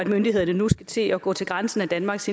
myndighederne nu skal til at gå til grænsen af danmarks